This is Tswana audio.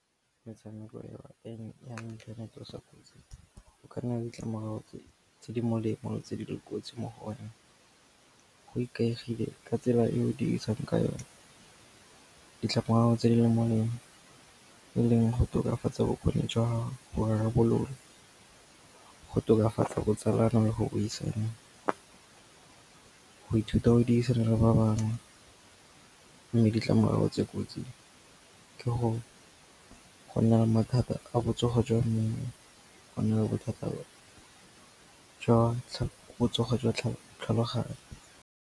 Metshameko eo ya inthanete o kotsi, go ka nna le ditlamorago tse di molemo tse di leng kotsi mo go ona, go ikaegile ka tsela e o dirisang ka yone. Ditlamorago tse di le molemo e leng go tokafatsa bokgoni jwa go rarabolola, go tokafatsa botsalano le go buisana, go ithuta go dirisana le ba bangwe. Mme ditlamorago tse kotsi ke go nna le mathata a botsogo jwa mmele, go nna le bothata jwa botsogo jwa tlhaloganyo.